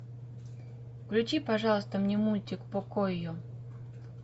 включи пожалуйста мне мультик покойо